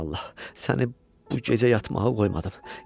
Aman Allah, səni bu gecə yatmağa qoymadım.